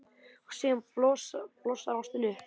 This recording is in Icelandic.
Og síðan blossar ástin upp.